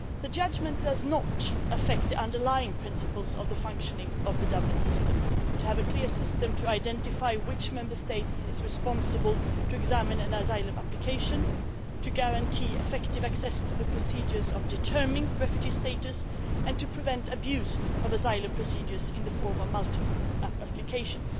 The judgment does not affect the underlying principles of the functioning of the Dublin system to have a clear system to identify which Member State is responsible, to examine an asylum application, to guarantee effective access to the procedures of determining refugee status, and to prevent abuse of asylum procedures in the form of multiple applications.